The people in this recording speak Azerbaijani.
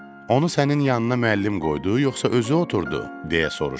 Onu sənin yanına müəllim qoydu, yoxsa özü oturdu? deyə soruşdum.